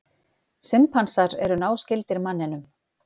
Simpansar eru náskyldir manninum.